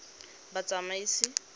batsamaisi